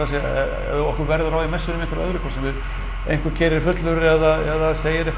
segja ef okkur verður á í messunni í einhverju öðru hvort sem við einhver keyrir fullur eða segir eitthvað